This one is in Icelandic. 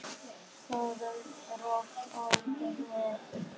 Sofðu rótt, ástin mín.